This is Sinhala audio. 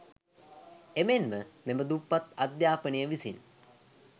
එමෙන්ම මෙම දුප්පත් අධ්‍යාපනය විසින්